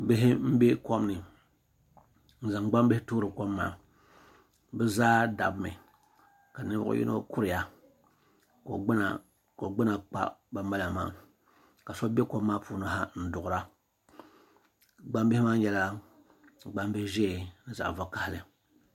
Bihi n bɛ kom ni bi zaa dabimi ka ninvuɣi yino kuriya ka o gbuna kpa bani bala maa ka so bɛ kom maa puuni ha n duɣiri a gbaŋ bihi maa nyɛla gbaŋ bihi zɛɛ ni zaɣi vakahali.